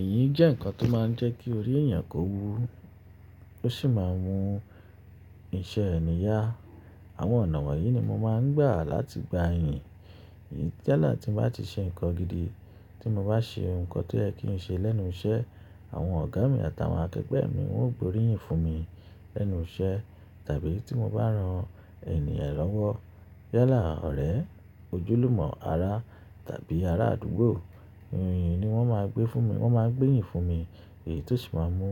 Èyín jẹ́ ǹkan tó máa ń jẹ́ kí orí èyàn kó wú, tó sì máa ń mú iṣẹ́ ẹnì yà. Àwọn ọ̀nà wọ̀nyí ni mo máa ń gbà láti gbà ìyìn. Tẹ́lẹ̀ tí mo bá ti ṣe ǹkan gidi, tí mo bá ṣe ǹkan tí ẹ kìí ṣe lẹ́nu iṣẹ́, àwọn ọ̀gá mi àtàwọn akẹgbẹ́ mi wọn yóò gbé orí yìn fún mi lẹ́nu iṣẹ́. Tàbí tí mo bá rán ènìyàn lọ́wọ́, yálà ọ̀rẹ́, ojúlùmọ̀, ará tàbí ará àdúgbò, iyìn ni wọ́n máa gbé fún mi. Wọ́n máa ngbé iyìn fún mi èyí tó ṣì ma ń mú